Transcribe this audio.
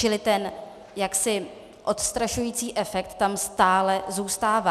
Čili ten jaksi odstrašující efekt tam stále zůstává.